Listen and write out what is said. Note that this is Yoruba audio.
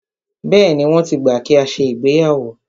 Bẹ́ẹ̀ni, wọ́n ti gbà kí a ṣe ìgbéyàwó.